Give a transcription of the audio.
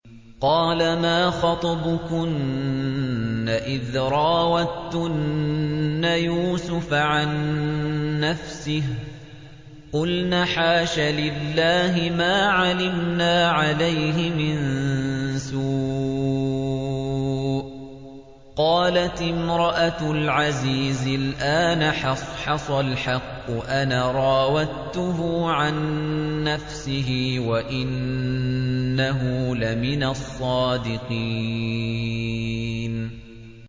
قَالَ مَا خَطْبُكُنَّ إِذْ رَاوَدتُّنَّ يُوسُفَ عَن نَّفْسِهِ ۚ قُلْنَ حَاشَ لِلَّهِ مَا عَلِمْنَا عَلَيْهِ مِن سُوءٍ ۚ قَالَتِ امْرَأَتُ الْعَزِيزِ الْآنَ حَصْحَصَ الْحَقُّ أَنَا رَاوَدتُّهُ عَن نَّفْسِهِ وَإِنَّهُ لَمِنَ الصَّادِقِينَ